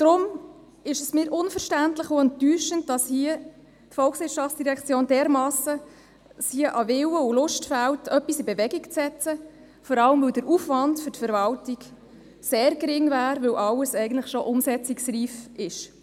Deshalb ist es für mich unverständlich und enttäuschend, dass es der VOL dermassen an Willen und Lust fehlt, hier etwas in Bewegung zu setzen, vor allem, weil der Aufwand für die Verwaltung sehr gering wäre, weil alles eigentlich schon umsetzungsreif ist.